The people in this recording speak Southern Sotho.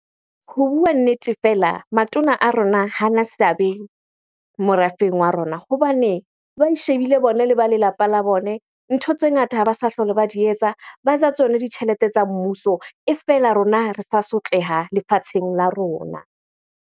Ho bua nnete fela, matona a rona hana seabe morafeng wa rona hobane ba ishebile bone le ba lelapa la bone. Ntho tse ngata ha ba sa hlole ba di etsa. Ba ja tsone ditjhelete tsa mmuso. E fela rona ha re sa sotleha lefatsheng la rona.